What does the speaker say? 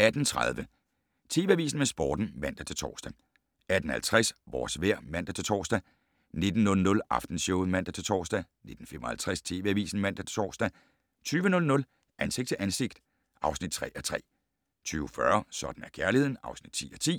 18:30: TV Avisen med Sporten (man-tor) 18:50: Vores vejr (man-tor) 19:00: Aftenshowet (man-tor) 19:55: TV Avisen (man-tor) 20:00: Ansigt til ansigt (3:3) 20:40: Sådan er kærligheden (10:10)